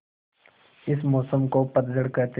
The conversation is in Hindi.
इस मौसम को पतझड़ कहते हैं